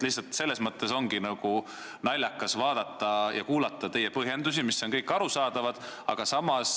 Lihtsalt selles mõttes on naljakas kuulata teie põhjendusi, mis on kõik arusaadavad, aga samas ...